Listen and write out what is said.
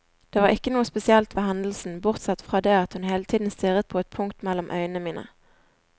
Det var ikke noe spesielt ved hendelsen, bortsett fra det at hun hele tiden stirret på et punkt mellom øynene mine.